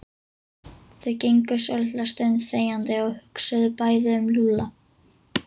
Þau gengu svolitla stund þegjandi og hugsuðu bæði um Lúlla.